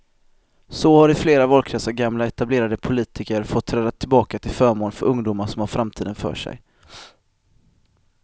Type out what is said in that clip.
Så har i flera valkretsar gamla etablerade politiker fått träda tillbaka till förmån för ungdomar som har framtiden för sig.